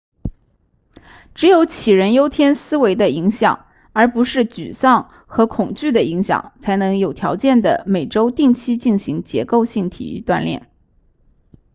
只有杞人忧天思维的影响而不是沮丧和恐惧的影响才能有条件地每周定期进行结构性体育锻炼